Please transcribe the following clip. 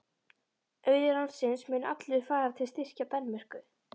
Auður landsins mun allur fara til að styrkja Danmörku.